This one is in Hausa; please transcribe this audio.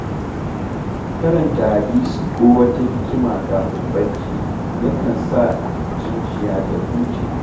Karanta hadisi ko wata hikima kafin barci, yakan sa zuciya ta huce.